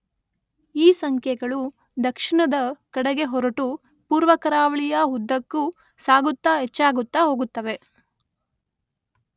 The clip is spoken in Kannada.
ಈ ಸಂಖ್ಯೆಗಳು ದಕ್ಷಿಣದ ಕಡೆಗೆ ಹೊರಟು ಪೂರ್ವ ಕರಾವಳಿಯ ಉದ್ದಕ್ಕೂ ಸಾಗುತ್ತಾ ಹೆಚ್ಚಾಗುತ್ತಾ ಹೋಗುತ್ತವೆ.